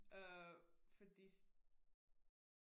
øh fordi